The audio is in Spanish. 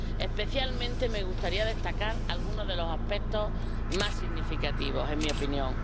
Especialmente me gustaría destacar algunos de los aspectos más significativos, en mi opinión.